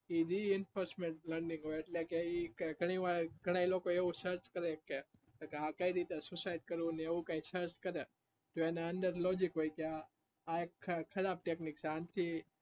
એટલેકે ઘણા લોકો એવું search કરે છે કે આ કઈ રીતે suicide કરવું ને એવું કઈ search કરે છે તો એના અંદર logic હોય આ એક ખરાબ technic છે